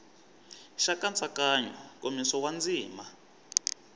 xa nkatsakanyo nkomiso wa ndzima